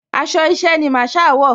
Aṣọ iṣẹ́ ni Masaa wọ̀